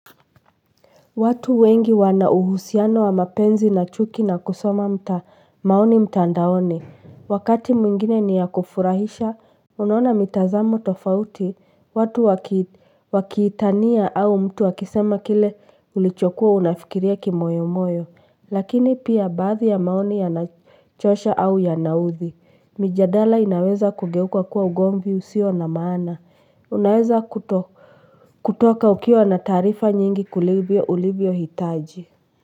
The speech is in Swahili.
Watu wengi wana uhusiano wa mapenzi na chuki na kusoma maoni mtandaoni wakati mwingine ni ya kufurahisha, unaona mitazamo tofauti. Watu wakiitania au mtu akisema kile ulichokuwa unafikiria kimoyo moyo. Lakini pia baadhi ya maoni yanachosha au yanaudhi. Mijadala inaweza kugeuka kuwa ugomvi usio na maana. Unaweza kutoka ukiwa na taarifa nyingi kuliko ulivyohitaji.